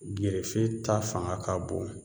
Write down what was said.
Gerefe ta fanga ka bon